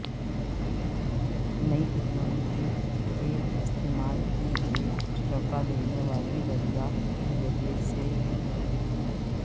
نئی ٹیکنالوجی کے استعمال کی ایک چونکا دینے والی دریافت کی وجہ سے ہے